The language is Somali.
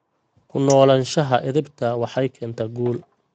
Ku noolaanshaha edaabta waxay keentaa guul.